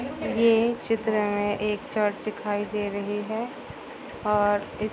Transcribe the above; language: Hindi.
ये चित्र हैं एक चर्च दिखाई दे रही हैं और--